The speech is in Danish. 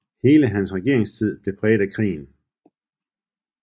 Hele hans regeringstid blev præget af krigen